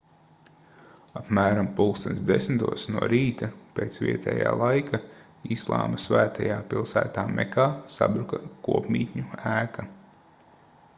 apmēram plkst 10:00 no rīta pēc vietājā laika islāma svētajā pilsētā mekā sabruka kopmītņu ēka